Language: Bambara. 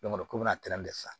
ko bɛ na tɛrɛ fɛ